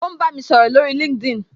O ń bá mi sọ̀rọ̀ lórí LinkedIn